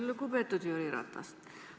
Lugupeetud Jüri Ratas!